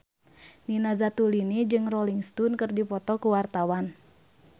Nina Zatulini jeung Rolling Stone keur dipoto ku wartawan